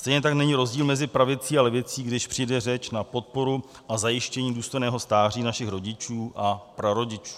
Stejně tak není rozdíl mezi pravicí a levicí, když přijde řeč na podporu a zajištění důstojného stáří našich rodičů a prarodičů.